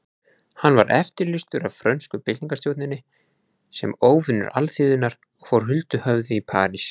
Hann var eftirlýstur af frönsku byltingarstjórninni sem óvinur alþýðunnar og fór huldu höfði í París.